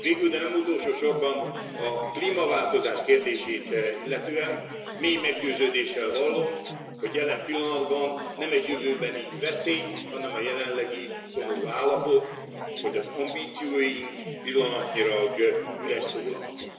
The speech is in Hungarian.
S végül, de nem utolsósorban a klímaváltozás kérdését illetően mély meggyőződéssel vallom, hogy jelen pillanatban nem jövőbeni veszély, hanem jelenlegi szomorú állapot, hogy az ambícióink pillanatnyilag üres szólamok.